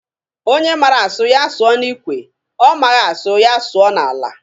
Onye mara asụ, ya sụọ n'ikwe, ọ maghị asụ, ya sụọ n'ala.